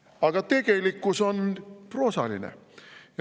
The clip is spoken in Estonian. Aga tegelikkus on proosaline.